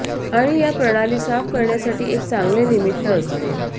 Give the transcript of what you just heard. आणि या प्रणाली साफ करण्यासाठी एक चांगले निमित्त असते